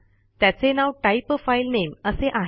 त्याचे नाव type a file name असे आहे